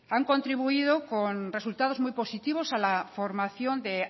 han contribuido con resultados muy positivos a la formación de